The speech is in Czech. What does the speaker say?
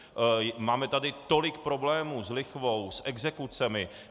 Máme tady tolik problémů s lichvou, s exekucemi.